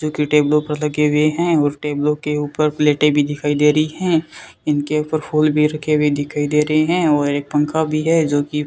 जो कि टेबलो पर लगे हुए हैं और टेबलों के ऊपर प्लेटें भी दिखाई दे रही है इनके ऊपर फूल भी रख भी दिखाई दे रहे हैं और एक पंखा भी है जो की --